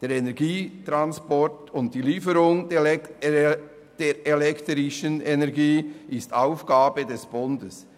Der Energietransport und die Lieferung der elektrischen Energie ist Aufgabe des Bundes.